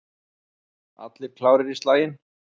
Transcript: Allir klárir í slaginn?